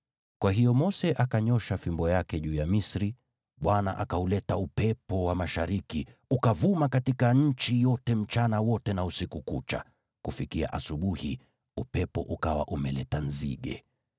Kwa hiyo Mose akanyoosha fimbo yake juu ya Misri, Bwana akauleta upepo wa mashariki ukavuma katika nchi yote mchana wote na usiku kucha, kufikia asubuhi upepo ukawa umeleta nzige.